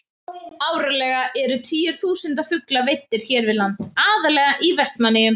Árlega eru tugir þúsunda fugla veiddir hér við land, aðallega í Vestmannaeyjum.